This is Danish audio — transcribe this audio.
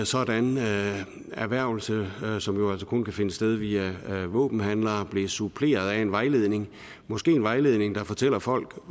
sådan erhvervelse som jo altså kun kan finde sted via våbenhandlere blev suppleret af en vejledning måske en vejledning der fortæller folk